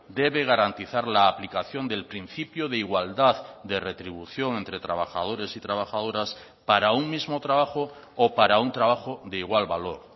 debe garantizar la aplicación del principio de igualdad de retribución entre trabajadores y trabajadoras para un mismo trabajo o para un trabajo de igual valor